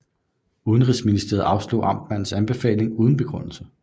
Indenrigsministeriet afslog amtmandens anbefaling uden begrundelse